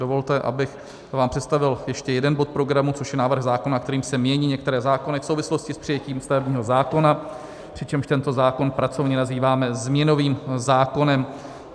Dovolte, abych vám představil ještě jeden bod programu, což je návrh zákona, kterým se mění některé zákony v souvislosti s přijetím stavebního zákona, přičemž tento zákon pracovně nazýváme změnovým zákonem.